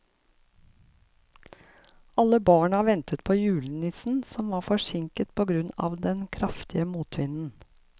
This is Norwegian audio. Alle barna ventet på julenissen, som var forsinket på grunn av den kraftige motvinden.